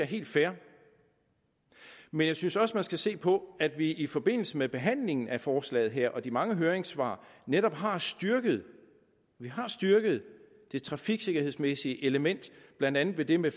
helt fair men jeg synes også man skal se på at vi i forbindelse med behandlingen af forslaget her og de mange høringssvar netop har styrket har styrket det trafiksikkerhedsmæssige element blandt andet ved det med